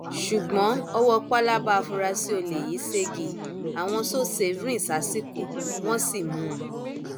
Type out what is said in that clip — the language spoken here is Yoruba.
ṣùgbọn ọwọ pálábá àfurasí olè yìí ṣẹgi àwọn sosafe rìn sásìkò wọn sì mú un